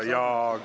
Nii.